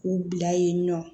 K'u bila yen nɔ